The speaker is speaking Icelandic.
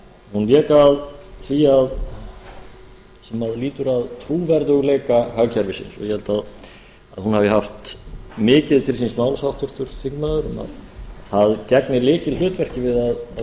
hún vék að því sem lýtur að trúverðugleika hagkerfisins og ég held að hún hafi haft mikið til síns máls háttvirtur þingmaður það gegnir lykilhlutverki við að